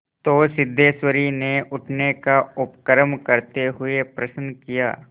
तो सिद्धेश्वरी ने उठने का उपक्रम करते हुए प्रश्न किया